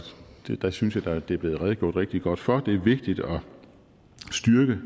der synes jeg da der er blevet redegjort rigtig godt for det det er vigtigt at styrke